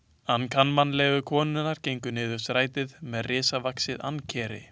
Ankannalegu konurnar gengu niður strætið með risavaxið ankeri.